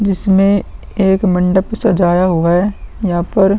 जिसमे एक मंडप सजाया हुआ है। यहाँ पर --